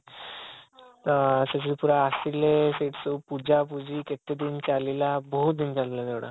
ତ ସେସବୁ ପୁରା ଆସିଲେ ସେଇଠି ସବୁ ପୂଜା ପୁଜି କେତେ ଦିନ ଚାଲିଲା ବହୁତ ଦିନ ଚାଲିଲା ସେ ଗୁଡା